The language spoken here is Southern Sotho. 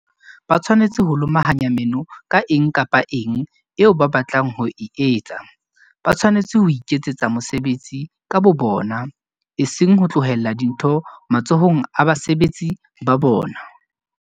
Ba tshwanetse ho lomahanya meno ka eng kapa eng eo ba batlang ho e etsa. Ba tshwanetse ho iketsetsa mosebetsi ka bobona, eseng ho tlohella dintho matsohong a basebeletsi ba bona.